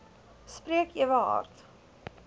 spreek ewe hard